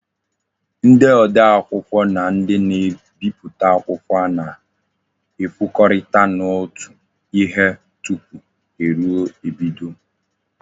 Ndi odee akwukwo na ndi na-ebiputa akwukwo na-ekwokorita n'otu ihe tupu eru ebido.